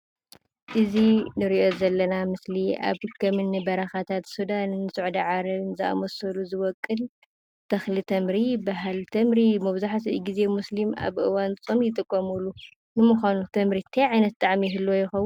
እዙይ እንርእዮ ዘለና ምስሊ ኣብ ከምኒ በረከታት ሱዳን ስዑድ ዓረብን ዝኣምሰሉ ዝወቅል ተኽሊ ተምሪ ይብሃል። ተምሪ መብዛሕቲኡ ግዜ ሙስሊም ኣብ እዋን ፆም ይጥቀሙሉ። ንምዃኑ ተምሪ እንታይ ዓይነት ጣዕሚ ይህልዎ ይኸዉን?